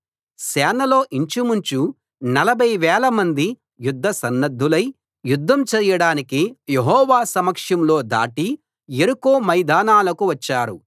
సేనలో ఇంచుమించు నలభై వేలమంది యుద్ధసన్నద్ధులై యుద్ధం చేయడానికి యెహోవా సమక్షంలో దాటి యెరికో మైదానాలకు వచ్చారు